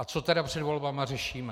A co tedy před volbami řešíme?